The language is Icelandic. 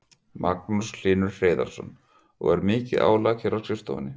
Magnús Hlynur Hreiðarsson: Og er mikið álag hér á skrifstofunni?